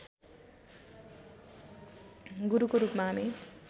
गुरुको रूपमा हामी